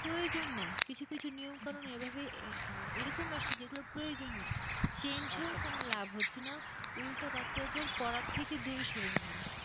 প্রয়োজন নেই কিছু কিছু নিয়ম কানুন এভাবেই আহ এরকম আসছে যেগুলোর প্রয়োজন নেই হয়েও কোন লাভ হচ্ছে না উল্টে বাচ্চাদের পড়ার থেকে দূরে সরে নিয়ে যাচ্ছে।